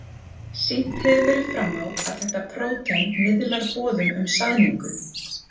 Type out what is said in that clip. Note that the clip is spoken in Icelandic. Sýnt hefur verið fram á að þetta prótein miðlar boðum um saðningu.